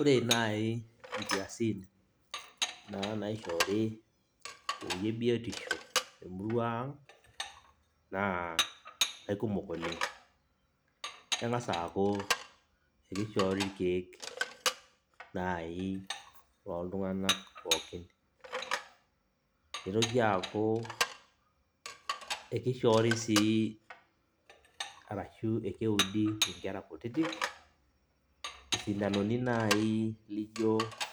Ore nai nkiasin naa naishoori tewoi ebiotisho temurua ang, naa aikumok oleng'. Keng'asa aku ekishoori irkeek nai loltung'anak pookin. Nitoki aku ekishoori si arashu ekeudi inkera kutitik, isindanoni nai lijo